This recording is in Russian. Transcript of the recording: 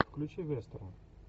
включи вестерн